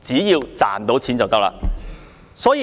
只要能賺錢便可以。